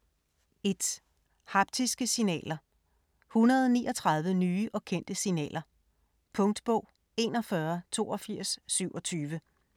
1. Haptiske signaler: 139 nye og kendte signaler Punktbog 418227